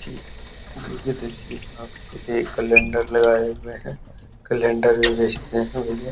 calendar भी लगाए हुए हैं कैलेंडर भी बेचते है भैया